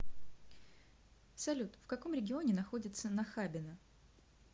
салют в каком регионе находится нахабино